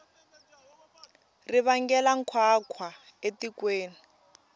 ri vangela nkhwankhwa etikweni